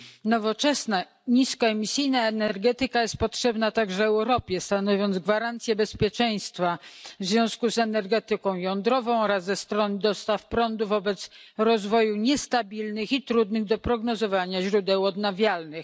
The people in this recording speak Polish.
Nowoczesna niskoemisyjna energetyka jest potrzebna także Europie, stanowiąc gwarancję bezpieczeństwa w związku z energetyką jądrową oraz ze stron dostaw prądu wobec rozwoju niestabilnych i trudnych do prognozowania źródeł odnawialnych.